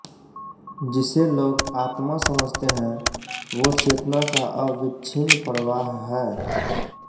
जिसे लोग आत्मा समझते हैं वो चेतना का अविच्छिन्न प्रवाह है